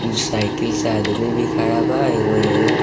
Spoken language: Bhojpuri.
ऊ साइकिल से आदमी भी खड़ा बा एगो येही।